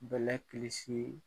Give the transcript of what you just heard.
Bɛlɛ kilisii